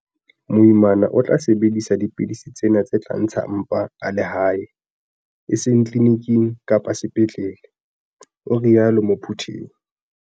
"Moimana o tla sebedisa dipidisi tsena tse tla ntsha mpa a le hae, e seng tliliniking kapa sepetlele," o rialo Muthuphei.